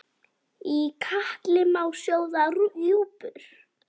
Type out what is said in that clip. Í katli má sjóða rjúpur?